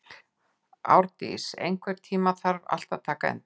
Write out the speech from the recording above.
Árndís, einhvern tímann þarf allt að taka enda.